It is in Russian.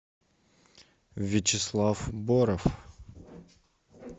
вячеслав боров